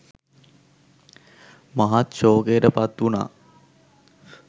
මහත් ශෝකයට පත්වුනා.